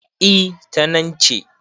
E, ta nan ce.